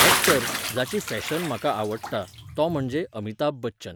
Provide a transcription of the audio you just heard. Actor, जाची fashion म्हाका आवडटा, तो म्हणजे अमिताभ बच्चन.